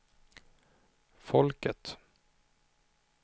folket